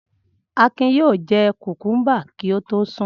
Akin yóò jẹ kòkúḿbà kí ó tó sùn.